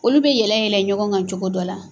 Olu bɛ yɛlɛ yɛlɛ ɲɔgɔn kan cogo dɔ la.